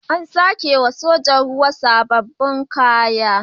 An sake wa sojojin ruwa sabbin kaya.